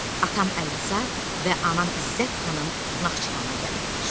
Atam Əlirza və anam İzzət xanım Naxçıvana gəlirlər.